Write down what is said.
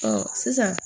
Ɔ sisan